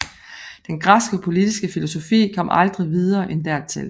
Men den græske politiske filosofi kom aldrig videre end dertil